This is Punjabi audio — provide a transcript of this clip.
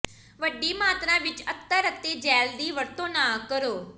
ਵੱਡੀ ਮਾਤਰਾ ਵਿੱਚ ਅਤਰ ਅਤੇ ਜੈਲ ਦੀ ਵਰਤੋਂ ਨਾ ਕਰੋ